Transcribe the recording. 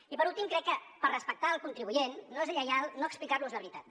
i per últim crec que per respectar el contribuent no és lleial no explicar los la veritat